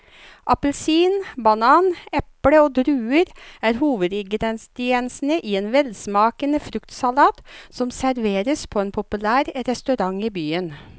Appelsin, banan, eple og druer er hovedingredienser i en velsmakende fruktsalat som serveres på en populær restaurant i byen.